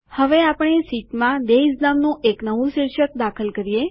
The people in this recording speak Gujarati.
હવે આપણી શીટ માં ડેયઝ નામનું એક નવું શીર્ષક દાખલ કરીએ